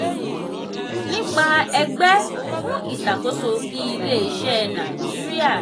nipa ẹgbẹ́ fún ìṣàkóso ilé-iṣẹ́ naijiria